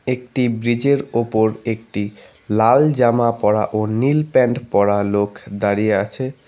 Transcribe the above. একটি ব্রীজের ওপর একটি লাল জামা পরা ও নীল প্যান্ট পরা লোক দাঁড়িয়ে আছে।